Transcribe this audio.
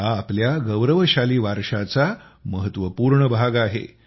हा आमच्या गौरवशाली वारशाचा महत्वपूर्ण भाग आहे